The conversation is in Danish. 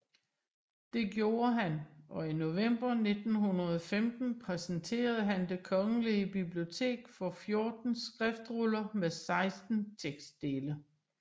Det gjorde han og i november 1915 præsenterede han Det Kongelige Bibliotek for 14 skriftruller med 16 tekstdele